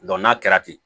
n'a kɛra ten